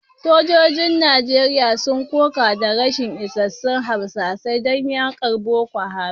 Sojojin Najeriya sun koka da rashin isassun harsasai don yakar Boko Haram